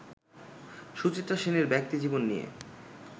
সুচিত্রা সেনের ব্যক্তি জীবন নিয়ে